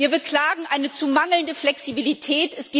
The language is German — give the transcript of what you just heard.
Wir beklagen eine zu mangelnde Flexibilität.